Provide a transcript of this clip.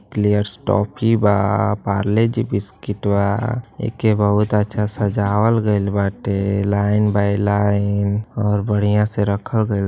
eclairs toffee बा Parle G biscuit बा एके बहुत अच्छा सजावल गइल बाटे लाइन बाई लाइन और बढ़िया से रखल गइल बा |